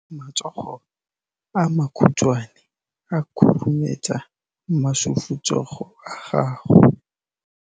Matsogo a makhutshwane a khurumetsa masufutsogo a gago.